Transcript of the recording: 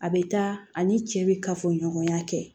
A bɛ taa ani cɛ bɛ kafoɲɔgɔnya kɛ